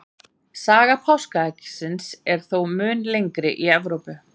Saga páskaeggsins er þó mun lengri í Evrópu.